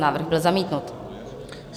Návrh byl zamítnut.